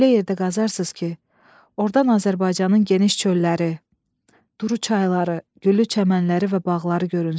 Elə yerdə qazarsız ki, ordan Azərbaycanın geniş çölləri, duru çayları, güllü çəmənləri və bağları görünsün.